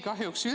Kahjuks ei ole.